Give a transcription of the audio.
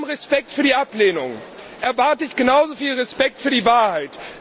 Mit allem Respekt für die Ablehnung erwarte ich genauso viel Respekt für die Wahrheit.